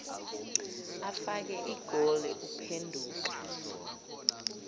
afake igoli uphenduka